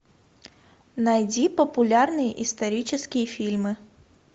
найди популярные исторические фильмы